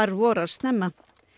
vorar snemma